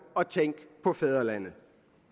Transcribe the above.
og tænk på fædrelandet